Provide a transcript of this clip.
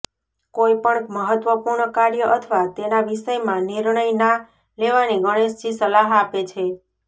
કોઇ પણ મહત્વપૂર્ણ કાર્ય અથવા તેના વિષયમાં નિર્ણય ના લેવાની ગણેશજી સલાહ આપે છે